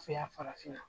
Yan farafinna